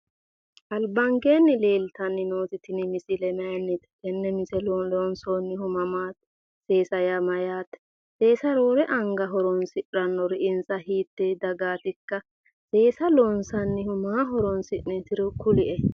Albankeenni leeltanni nooti tini misile maayinnite? loonsoonnihu mamaati? seesa yaa mayyaate? seesa roore anga horonsidhannori insa hiittee dagaatikka? loonsannihu maa horonsi'neetoro kulie.